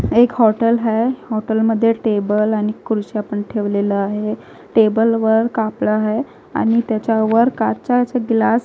एक हॉटेल हैं हॉटेलमध्ये टेबल आणि खुर्च्या पण ठेवलेल्या आहे टेबलवर कापडा हाय आणि तेच्यावर काचाच ग्लास --